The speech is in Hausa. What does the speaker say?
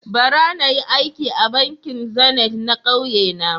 Bara na yi aiki a bankin zenith na ƙauye na.